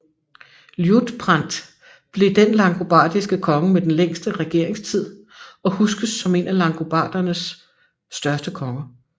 Liutprand blev den langobardiske konge med den længste regeringstid og huskes som en af langobardernes største konger